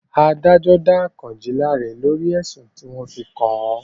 Adájọ́ dá Àkànjí láre lórí ẹ̀sùn tí wọ́n fi kàn án